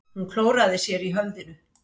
Hún klóraði sér í höfðinu.